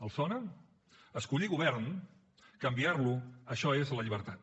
els sona escollir govern canviar lo això és la llibertat